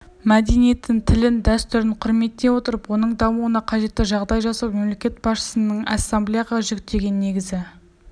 мәдениетін тілін дәстүрін құрметтей отырып оның дамуына қажетті жағдай жасау мемлекет басшысының ассамблеяға жүктеген негізгі